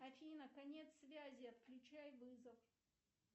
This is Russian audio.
афина конец связи отключай вызов